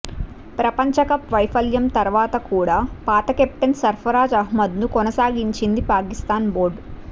ప్రపంచకప్ వైఫల్యం తర్వాత కూడా పాత కెప్టెన్ సర్ఫరాజ్ అహ్మద్ను కొనసాగించింది పాకిస్థాన్ బోర్డు